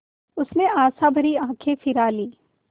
उसने आशाभरी आँखें फिरा लीं